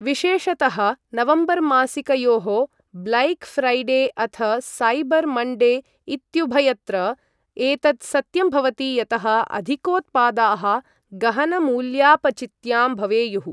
विशेषतः नवम्बरमासिकयोः black Friday अथ साइबर् मण्डे इत्युभयत्र एतत् सत्यं भवति यतः अधिकोत्पादाः गहनमूल्यापचित्यां भवेयुः।